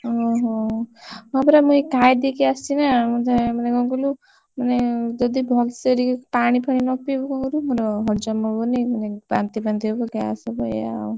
ଓହୋ ହଁ ପରା ମୁ ଏଇ ଖାଇଦେଇକି ଆସିଛି ନା! ମତେ ମାନେ କଣ କହିଲୁ ମାନେ ଯଦି ଭଲସେ ଟିକେ ପାଣି ଫାଣି ନପିଇବୁ କଣ କରିବୁ? ମୁଣ୍ଡ ହଲଚଲ ହବନି ମାନେ ବାନ୍ତି ଫାନ୍ତି ହବ gas ହବ ଏଇଆ ଆଉ।